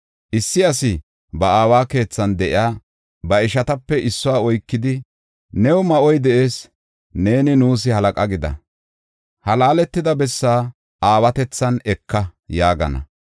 Issi asi ba aawa keethan de7iya ba ishatape issuwa oykidi, “New ma7oy de7ees; neeni nuus halaqa gida; ha laaletida bessaa aawatethan eka” yaagana.